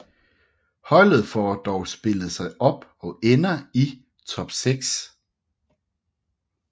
Holdet får dog spillet sig op og ender i top 6